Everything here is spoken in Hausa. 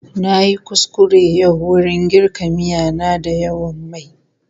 Na yi kuskure yau wurin girka miya na da yawan mai.